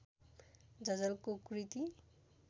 झझल्को कृति